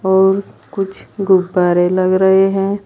और कुछ गुब्बारे लग रहे हैं।